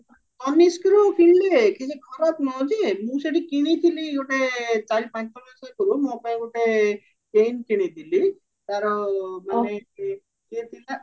ତନିଷ୍କରୁ କିଣିଲେ କିଛି ଖରାପ ନୁହ ଯେ ମୁଁ ସେଠି କିଣିଥିଲି ଗୋଟେ ଚାରି ପାଞ୍ଚ ବର୍ଷ ଆଗରୁ ମୋ ପାଇଁ ଗୋଟେ ring କିଣିଥିଲି ତାର ମାନେ ସିଏ ଥିଲା